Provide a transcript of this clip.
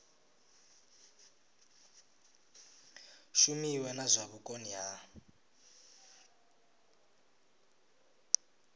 shumiwe na zwa vhukoni ha